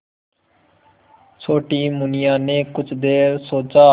छोटी मुनिया ने कुछ देर सोचा